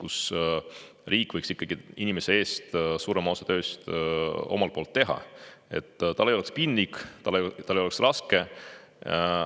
Riik omalt poolt võiks ikkagi inimese eest suurema osa tööst ära teha, et tal ei oleks piinlik, et tal ei oleks raske.